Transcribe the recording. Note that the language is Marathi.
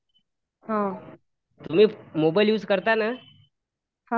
हॅलो मॅम , मोबाईल युज करता ना?